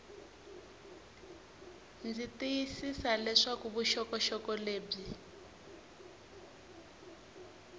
ndzi tiyisisa leswaku vuxokoxoko lebyi